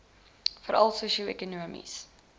veral sosio ekonomies